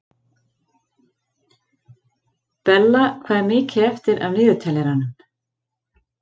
Bella, hvað er mikið eftir af niðurteljaranum?